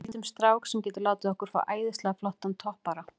Ég veit um strák sem getur látið okkur fá æðislega flottan toppara.